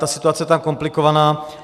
Ta situace je tam komplikovaná.